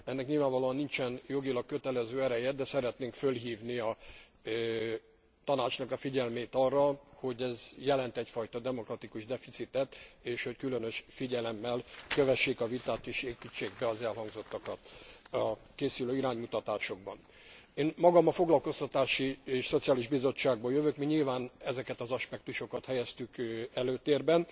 Ennek nyilvánvalóan nincsen jogilag kötelező ereje, de szeretnénk fölhívni a Tanács figyelmét arra, hogy ez jelent egyfajta demokratikus deficitet, és hogy különös figyelemmel kövessék a vitát és építsék be az elhangzottakat a készülő iránymutatásokba. Én magam a Foglalkoztatási és Szociális Bizottságból jövök, mi nyilván ezeket az aspektusokat helyeztük előtérbe